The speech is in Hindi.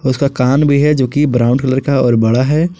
उसका कान भी है जो कि ब्राउन कलर का और बड़ा है।